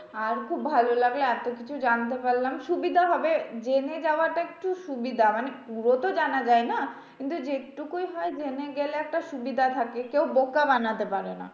আর খুব ভালো লাগলো এতকিছু জানতে পারলাম। সুবিধা হবে জেনে যাওয়াটা একটু সুবিধা মানে পুরো তো জানা যায় না? কিন্তু যেটুকুই হয় জেনে গেলে একটা সুবিধা থাকে, কেউ বোকা বানাতে পারে না।